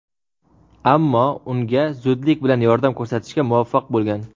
ammo unga zudlik bilan yordam ko‘rsatishga muvaffaq bo‘lgan.